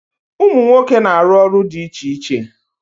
Umu nwoke na aru olu di iche iche.